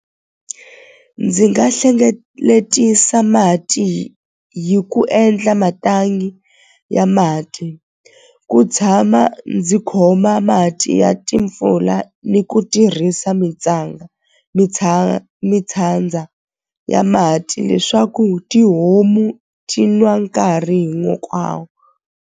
Ndzi nga hlengeletisa mati hi ku endla mathangi ya mati ku tshama ndzi khoma mati ya timpfula ni ku tirhisa mitshandza ya mati leswaku tihomu ti nwa nkarhi hinkwawo.